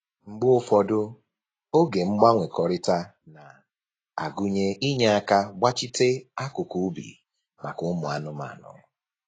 Mgbe ụfọdụ, oge mgbanwekọrịta na-agụnye inye aka gbachite akụkụ ubi maka ụmụ anụmanụ